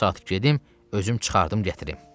Bu saat gedim özüm çıxardım gətim.